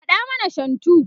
kaɗa mana shantu!